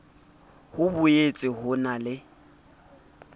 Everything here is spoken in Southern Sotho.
ho boetse ho na le